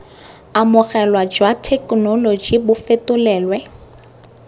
amogelwa jwa thekenoloji bo fetolelwe